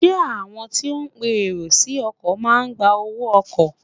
Ṣé àwọn tí ó ń pe èrò sí ọkọ̀ máa gba owó ọkọ̀?